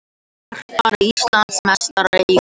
Garpar Íslandsmeistarar í krullu